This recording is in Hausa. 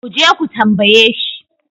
ku je ku tambaye shi?